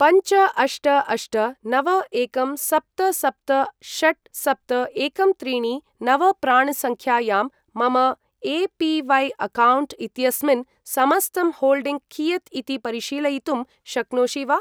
पञ्च अष्ट अष्ट नव एकं सप्त सप्त षट् सप्त एकं त्रीणि नव प्राण् सङ्ख्यायां मम ए.पी.वै.अकौण्ट् इत्यस्मिन् समस्तं होल्डिङ्ग् कियत् इति परिशीलयितुं शक्नोषि वा?